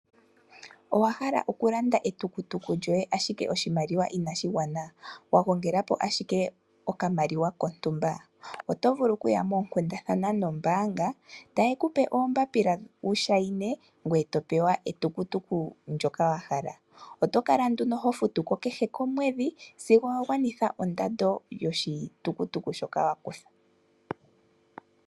Owa hala okulanda etukutuku lyoye ashike oshimaliwa ina shi gwana, wagongelapo ashike okamaliwa kontumba. Oto vulu okuya mookundathana nombanga, taye kupe oombapila wu shayine gweye to pewa etukutuku ndyoka wahala. Oto kala nduno hofutuko kehe komwedhi sigo wagwanitha ondando yoshitukutuku shoka wa kutha.